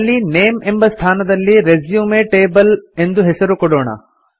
ಅಲ್ಲಿ ನೇಮ್ ಎಂಬ ಸ್ಥಾನದಲ್ಲಿ ರೆಸ್ಯೂಮ್ ಟೇಬಲ್ ಎಂದು ಹೆಸರು ಕೊಡೋಣ